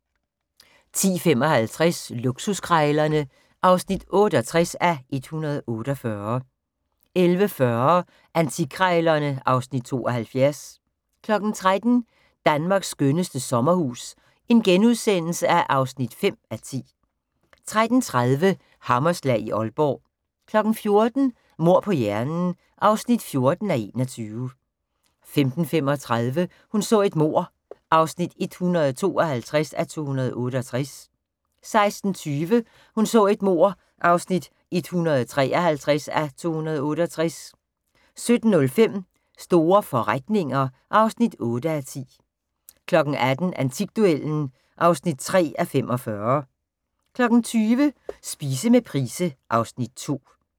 10:55: Luksuskrejlerne (68:148) 11:40: Antikkrejlerne (Afs. 72) 13:00: Danmarks skønneste sommerhus (5:10)* 13:30: Hammerslag i Aalborg 14:00: Mord på hjernen (14:21) 15:35: Hun så et mord (152:268) 16:20: Hun så et mord (153:268) 17:05: Store forretninger (8:10) 18:00: Antikduellen (3:45) 20:00: Spise med Price (Afs. 2)